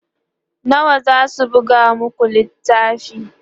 nawa zasu buga maku littafin?